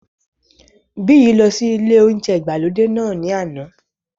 Biyi lọ sí ilé óúnjẹ ìgbàlódé náà ní àná